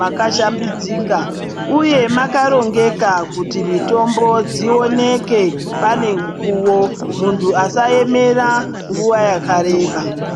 makashambidzika uye makarongeka kuti mutombo dzioneke panemukuwo .Muntu asaemera nguva yakareba .